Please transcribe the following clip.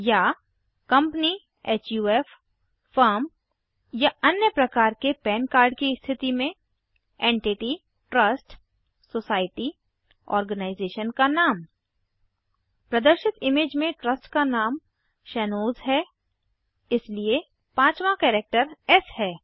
या company HUF Firmया अन्य प्रकार के पन कार्ड की स्थिति में एंटिटी ट्रस्ट सोसाइटी आर्गेनाइजेशन का नाम प्रदर्शित इमेज में ट्रस्ट का नाम शैनोज़ है इसलिए पाँचवाँ कैरेक्टर एस है